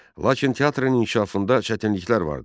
Lakin teatrın inkişafında çətinliklər vardı.